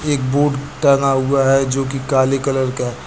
एक बोर्ड टंगा हुआ है जो कि काले कलर का है।